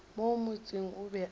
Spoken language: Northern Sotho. mo motseng o be a